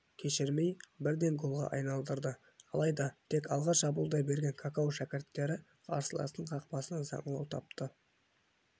кешірмей бірден голға айналдырды алайда тек алға шабуылдай берген какау шәкірттері қарсыластың қақпасынан саңылау тапты